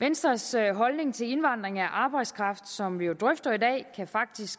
venstres holdning til indvandring af arbejdskraft som vi jo drøfter i dag kan faktisk